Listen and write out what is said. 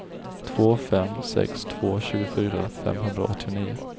två fem sex två tjugofyra femhundraåttionio